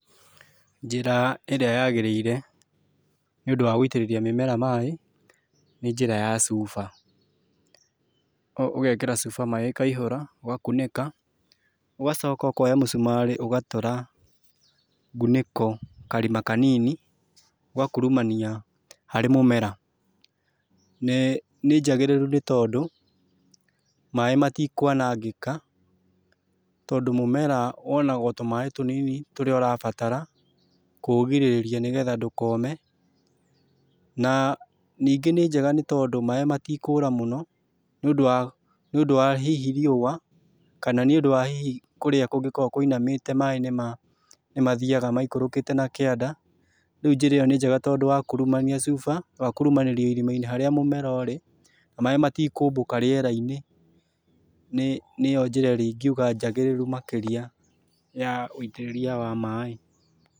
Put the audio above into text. Njĩra ĩrĩa yagĩrĩre nĩ nĩũndũ wa gũitĩrĩrĩa mĩmera maaĩ, nĩ njĩra ya cuba, ũgekĩra cuba maĩ ĩkaihũra ugakunĩka, ũgacoka ũkonya mũcumarĩ ũgatũra ngunĩko karima kanini ũgakurumania harĩ mũmera. Nĩ njagĩrĩru nĩ tondũ maaĩ matikũanangĩka tondũ o mũmera wonaga o tũmaaĩ tũnini tũrĩa ũrabatara kũũgirĩrĩa nĩgetha ndũkome na ningĩ nĩ njega nĩ tondũ maaĩ matikũũra mũno nĩundũ wa hihi riũa kana nĩũndũ wa hihi kũrĩa kũngĩkorwo kũinamĩte maaĩ nĩ mathiaga maikũrũkĩte na kĩanda. Riũ njĩra ĩyo nĩ njega tondũ wa kũrũmania cuba, wakurumania irima-ini harĩa mũmera ũrĩ na maaĩ matikũmbũka rĩera-inĩ. Nĩyo njĩra ĩrĩa ingiuga njagĩrĩru makĩrĩa ya wĩitĩrĩria wa maaĩ.